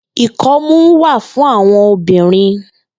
Ikọmù wà fùn áwòn óbirìn